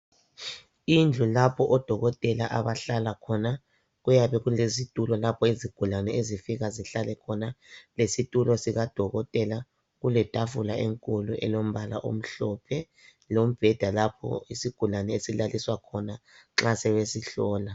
Indlu lapho odokotela abahlala khona, kuyabe kulezitulo lapho izigulane zifika zihlale khona. Lezitulo sika dokotela, kule tafula enkulu elombala amhlophe, lombeda lapho isigulane esilaliswa khona nxa sebesihlola.